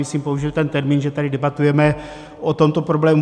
Myslím, použil ten termín, že tady debatujeme o tomto problému.